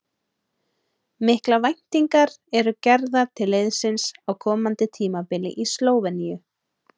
Miklar væntingar eru gerðar til liðsins á komandi tímabili í Slóveníu.